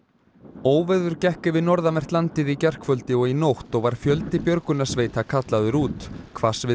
óveður gekk yfir norðanvert landið í gærkvöldi og í nótt og var fjöldi björgunarsveita kallaður út